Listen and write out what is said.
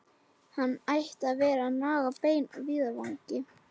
Hann ætti að vera að naga bein á víðavangi!